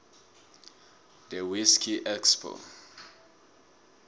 the whiskey expo